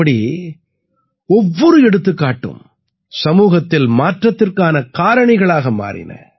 இப்படி ஒவ்வொரு எடுத்துக்காட்டும் சமூகத்தில் மாற்றத்திற்கான காரணிகளாக மாறின